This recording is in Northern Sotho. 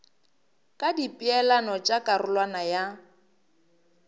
ka dipeelano tša karolwana ya